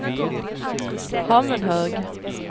Hammenhög